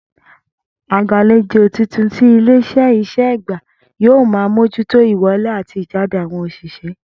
Agbàlejò titun tí ilé is̩é̩ yìí s̩è̩ gbà yóò máa mójútó ìwo̩lé àti ìjáde àwo̩n òs̩ìsé̩